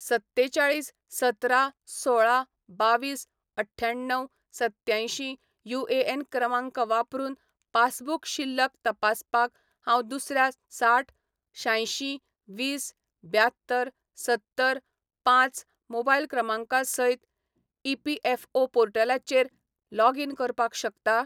सत्तेचाळीस सतरा सोळा बावीस अठ्ठ्याण्णव सत्यांयशीं युएएन क्रमांक वापरून पासबुक शिल्लक तपासपाक हांव दुसऱ्या साठ शांयशीं वीस ब्यात्तर सत्तर पांच मोबायल क्रमांका सयत ईपीएफओ पोर्टलाचेर लॉगीन करपाक शकता ?